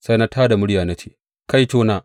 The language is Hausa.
Sai na tā da murya na ce, Kaitona!